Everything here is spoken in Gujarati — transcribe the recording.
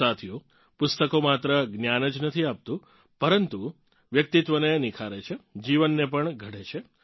સાથીઓ પુસ્તકો માત્ર જ્ઞાન જ નથી આપતું પરંતુ વ્યક્તિત્વને નિખારે છે જીવનને પણ ગઢે છે